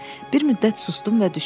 Bir müddət sustum və düşündüm.